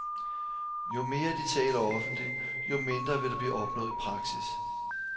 Jo mere de taler offentligt, jo mindre vil der blive opnået i praksis.